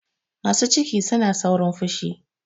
Masu ciki suna saurin fushi.